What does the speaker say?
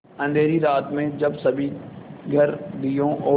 अँधेरी रात में जब सभी घर दियों और